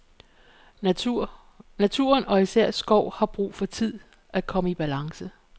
Naturen og især skov har brug for tid til at komme i balance.